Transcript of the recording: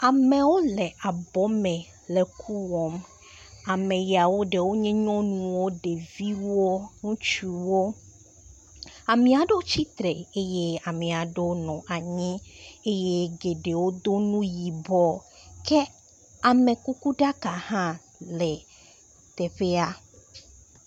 Amewo le abɔ me le ku wɔm. Ame yawo ɖewo nye nyɔnuwoo ɖeviwoo, ŋutsuwoo. Amea ɖewo tsitre eye amea ɖewo nɔ anyi eye geɖewo do nu yibɔ ke amekukuɖaka hã le teƒea.